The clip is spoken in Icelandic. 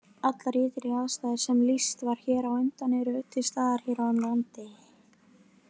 Allar ytri aðstæður sem lýst var hér á undan eru til staðar hér á landi.